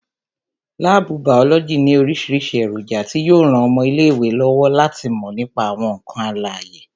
Láàbù bàọ́lọ́jì ní orísìírísìí èròjà tí yo ran ọmọ ilé ìwé lọ́wọ́ láti mò nípa àwọn ǹkan alàyè